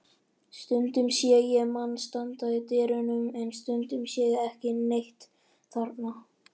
Stundum sé ég mann standa í dyrunum en stundum sé ég ekki neitt þarna.